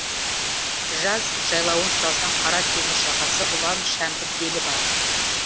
жаз жайлауын сұрасаң қара теңіз жағасы ұлан шәмбіл белі бар